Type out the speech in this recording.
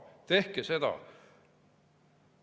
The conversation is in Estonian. Tehke seda!